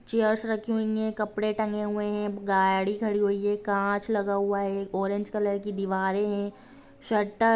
chairs रखी हुई है कपड़े टंगे हुए है गाड़ी खड़ी हुई है कांच लगा हुआ है ऑरेंज कलर की दिवाल है सटल